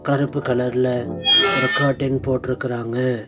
கருப்பு கலர்ல ஒரு கர்டைன் போட்ருக்குராங்க.